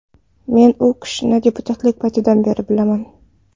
Men u kishini deputatlik paytidan beri bilaman.